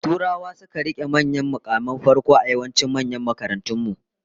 Turawa su suka rike manyan mukaman farko a yawancin manyan makarantun mu